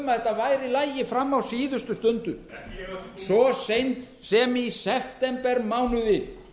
væri í lagi fram á síðustu stundu svo seint sem í septembermánuði